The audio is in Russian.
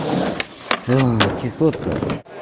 о чесотка